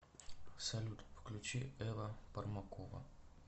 салют включи эва пармакова